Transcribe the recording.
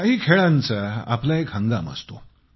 काही खेळांचा आपला एक हंगाम असतो